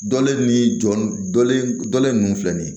Dɔlen ni jɔlen dɔlen filɛ nin ye